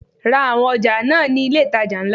Ra àwọn ọjà náà ní ilé itàjà ńlá.